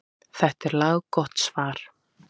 Þetta er laggott svar.